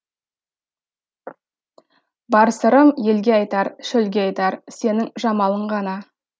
бар сырым елге айтар шөлге айтар сенің жамалың ғана